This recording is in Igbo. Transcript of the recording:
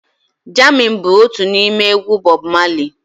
Jammin bụ otu n'ime egwu Bọb Mali